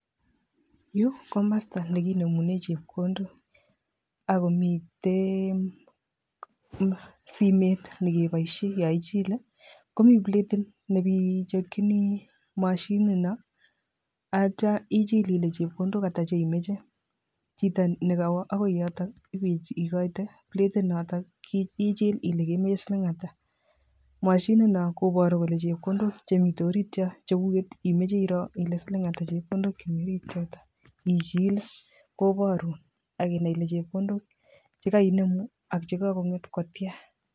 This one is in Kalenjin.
Yu ko komosto nekinemune chepkondok, ako mitten simet nekebooshien yon ichile komii platiit nebechokchini mashinit non ak yeityo ichil Ile chepkondok ata cheimoche. Chito nekowo bokoi yote ibekoitoi platit noton keichil Ile kemoe siling ata, mashinit non kobooru kole chepkondok chemiten oriit chon chekukek ,imoche iroo Ile siling ata chemi orit yoyon. Ichile koborun ak inai Ile chepkondok chekooinemu ak chekonget kotian